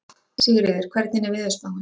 Sigríður, hvernig er veðurspáin?